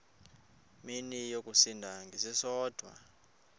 mini yosinda ngesisodwa